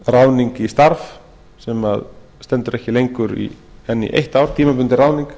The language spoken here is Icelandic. ráðning í starf sem stendur ekki lengur en í eitt ár tímabundin ráðning